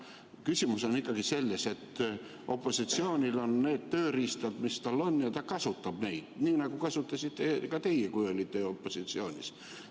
Küsimus on ikkagi selles, et opositsioonil on need tööriistad, mis tal on, ja ta kasutab neid, nii nagu kasutasite ka teie, kui olite opositsioonis.